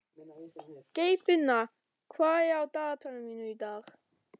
Geirfinna, hvað er á dagatalinu mínu í dag?